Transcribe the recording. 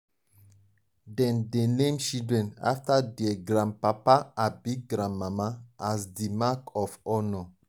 dem dey name children after dier grandpapa abi grandmama as di mark of honour.